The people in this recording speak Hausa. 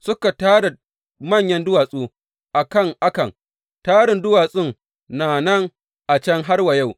Suka tara manyan duwatsu a kan Akan, tarin duwatsun na nan a can har wa yau.